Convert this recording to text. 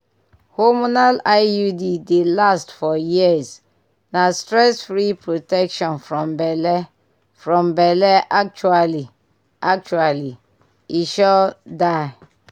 hormonal iud dey last for years na stress-free protection from belle. from belle. actually actually e sure die!